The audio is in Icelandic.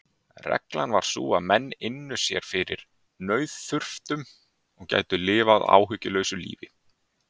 Reglan var sú að menn ynnu sér fyrir nauðþurftum og gætu lifað áhyggjulausu lífi.